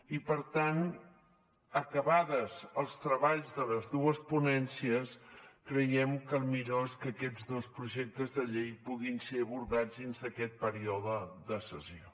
i per tant acabats els treballs de les dues ponències creiem que el millor és que aquests dos projectes de llei puguin ser abordats dins d’aquest període de sessions